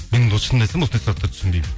мен осы шынымды айтсам осындай сұрақтарды түсінбеймін